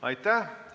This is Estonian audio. Aitäh!